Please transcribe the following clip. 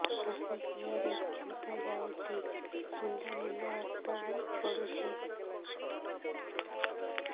ମାସିକିଆ ରେ ବହୁତ ଯାଉଛି ମୁଣ୍ଡା ମୁଣ୍ଡା ରକ୍ତ ବି ପଡୁଛି